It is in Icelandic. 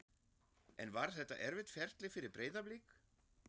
En var þetta erfitt ferli fyrir Breiðablik?